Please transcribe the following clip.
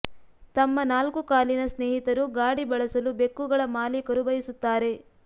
ತಮ್ಮ ನಾಲ್ಕು ಕಾಲಿನ ಸ್ನೇಹಿತರು ಗಾಡಿ ಬಳಸಲು ಬೆಕ್ಕುಗಳ ಮಾಲೀಕರು ಬಯಸುತ್ತಾರೆ